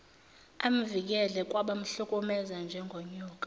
amvikele kwabamhlukumeza njengonyoka